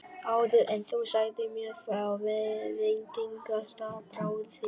Áður en þú sagðir mér frá veitingastað bróður þíns.